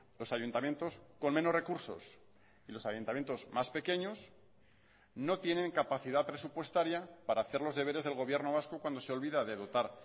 los ayuntamientos con menos recursos y los ayuntamientos más pequeños no tienen capacidad presupuestaria para hacer los deberes del gobierno vasco cuando se olvida de dotar